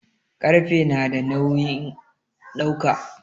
Ƙarfe nada nawin dauka